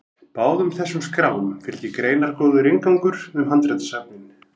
báðum þessum skrám fylgir greinargóður inngangur um handritasöfnin